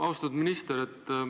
Austatud minister!